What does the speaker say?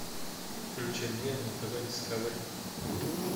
включи мне на тв дискавери